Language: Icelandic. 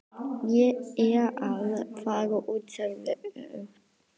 Ég er að fara út sagði Örn.